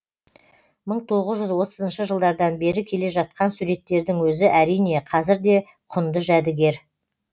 мың тоғыз жүз отызыншы жылдардан бері келе жатқан суреттердің өзі әрине қазір де құнды жәдігер